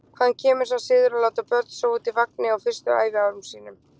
Hvaðan kemur sá siður að láta börn sofa úti í vagni á fyrstu ævi árunum?